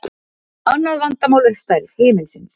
Annað vandamál er stærð himinsins.